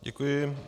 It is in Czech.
Děkuji.